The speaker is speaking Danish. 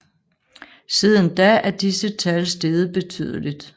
Siden da er disse tal steget betydeligt